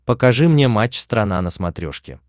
покажи мне матч страна на смотрешке